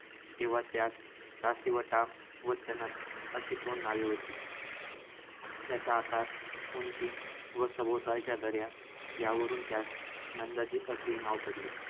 तेव्हा त्यास दासिवटा व तनस अशी दोन नावे होती. त्याचा आकार, उंची व सभोवतालच्या दऱ्या, यावरून त्यास नंदादीप असे नाव पडले.